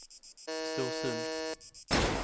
Storsund